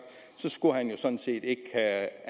så skulle han jo sådan set ikke